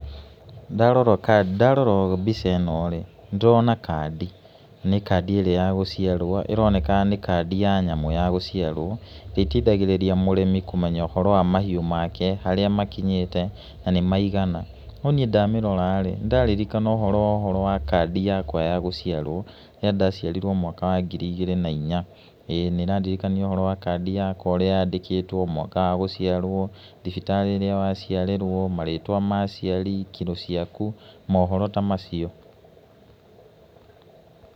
Ndarora mbica ĩno rĩ, nĩ ndĩrona kandi, nĩ kandi ĩrĩa ya gũciarwo, ĩroneka nĩ kandi ya nyamũ ya gũciarwo, ĩteithagĩrĩria mũrĩmi kũmenya ũhoro wa mahiũ make, harĩa makinyĩte, na nĩ maigana, no niĩ ndamĩrora, ndaririkana ũhoro wa kandi yakwa ya gũciarwo rĩrĩa ndaciarirwo mũaka wa ngiri igĩrĩ na inya, na ĩrandirikania kandi yakwa ũrĩa ĩrandĩkĩtwo, mwaka wa gũciarwo, thibitarĩ ĩrĩa waciarĩrwo, marĩtwa ma aciari, kiro ciaku, mohoro ta macio.